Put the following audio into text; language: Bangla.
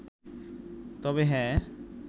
তবে হ্যাঁ